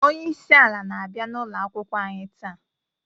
Onyeisi ala na abia n'ụkoakwukwọ anyi taa.